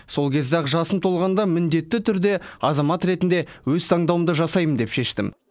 сол кезде ақ жасым толғанда міндетті түрде азамат ретінде өз таңдауымды жасаймын деп шештім